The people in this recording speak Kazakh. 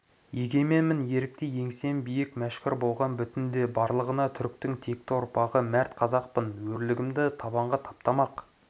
егеменмін ерікті еңсем биік мәшһүр болған бүгінде барлығына түріктің текті ұрпағы мәрт қазақпын өрлігімді табанға таптамақ